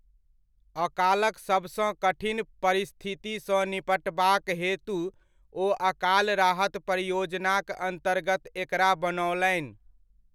अकालक सभसँ कठिन परिस्थितिसँ निपटबाक हेतु ओ अकाल राहत परियोजनाक अन्तर्गत एकरा बनओलनि।